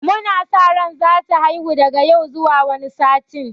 Mu na sa ran za ta haihu daga yau zuwa wani satin.